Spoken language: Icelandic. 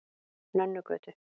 Nönnugötu